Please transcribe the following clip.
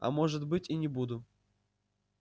а может быть и не буду